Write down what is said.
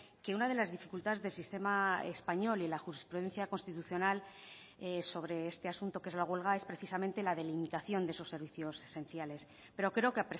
que una de las dificultades del sistema español y la jurisprudencia constitucional sobre este asunto que es la huelga es precisamente la delimitación de esos servicios esenciales pero creo que